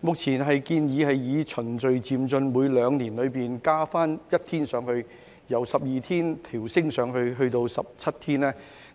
目前建議循序漸進地每兩年增加一天，由12天調升至17天，